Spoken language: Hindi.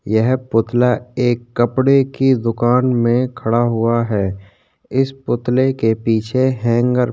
यह पुतला एक कपड़े की दुकान में खड़ा हुआ है. इस पुतले के पीछे हेंगर --